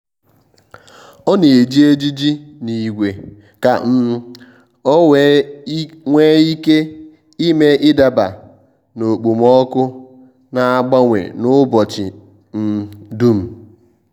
ọ́ nà-ejì ejiji n’ígwé kà um ọ́ wee nwee ike ị́mé ị́daba na okpomọkụ nà-ágbànwè n’ụ́bọ̀chị̀ um dùm.